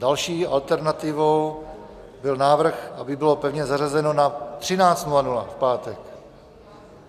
Další alternativou byl návrh, aby bylo pevně zařazeno na 13.00 v pátek.